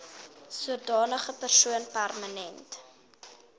sodanige persoon permanent